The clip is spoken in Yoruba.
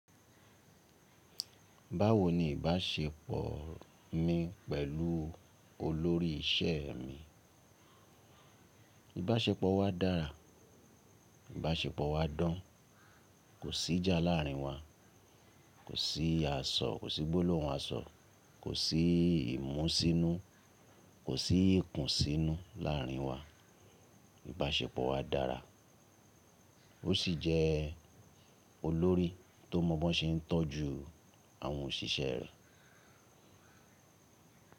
Báwo ni ìbáṣepọ̀ mi pẹ̀lú olórí iṣẹ́ mi? Ìbáṣepọ̀ wa dára, ìbáṣepọ̀ wa dán, kò sí ìjà láàrin wa, kò sí àsọ̀, kò sí gbólóhùn àsọ̀, kò sí ìmúṣínú, kò sí ìkùnsínú láàrin wa. Ìbáṣepọ̀ wa dára, ó sì jẹ́ olórí tó mọ̀ọ́mọ̀ ṣe ń tọ́jú àwọn òṣìṣẹ́ rẹ̀.